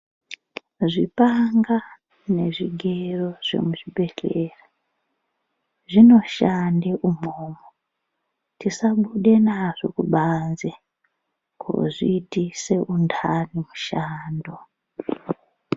Zvipanga nezvigero zvemuzvi bhehleya zvinoshande umwomwo. Tisabude nazvo kubanze kozviitisa undani mushando